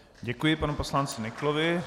Děkuji panu poslanci Nyklovi.